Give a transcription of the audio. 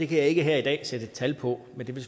kan jeg ikke her i dag sætte tal på men det vil